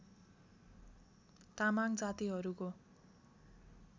तामाङ जातिहरूको